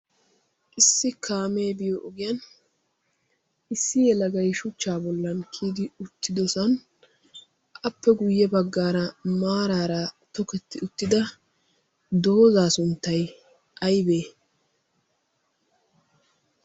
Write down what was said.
issi kaamee biyo ogiyan issi yelagai shuchchaa bollan kiyidi uttidosan appe guyye baggaara maaraara toketti uttida doozzaa sunttai aibee?